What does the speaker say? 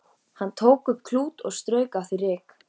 Hann tók upp klút og strauk af því ryk.